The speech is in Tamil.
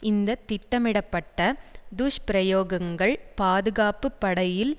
இந்த திட்டமிடப்பட்ட துஷ்பிரயோகங்கள் பாதுகாப்பு படையில்